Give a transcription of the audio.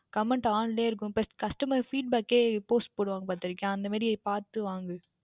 Comment On லேயே இருக்கும் Customer feedback கையே Post போடுவார்கள் பார்த்தாயா அந்த மாதிரி பார்த்து வாங்கு